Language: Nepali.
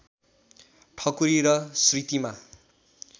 ठकुरी र श्रीतिमा